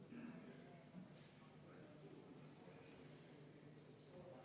Henn Põlluaas, palun!